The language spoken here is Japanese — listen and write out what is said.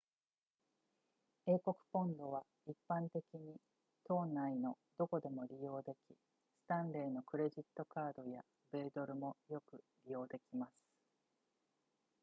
英国ポンドは一般的に島内のどこでも利用できスタンレーのクレジットカードや米ドルもよく利用できます